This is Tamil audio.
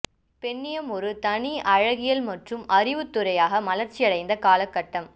பெண்ணியம் ஒரு தனி அழகியல் மற்றும் அறிவுத்துறையாக மலர்ச்சி அடைந்த காலகட்டம்